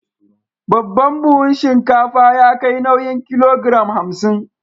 Babban buhun shinkafa ya kai nauyin kilogiram hamsin.